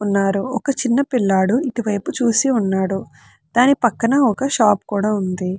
ఉన్నారు ఒక చిన్న పిల్లాడు ఇటు వైపు చూసి ఉన్నాడు. దాని పక్కన ఒక షాప్ కూడా ఉంది.